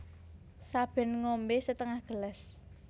Saben ngombé setengah gelas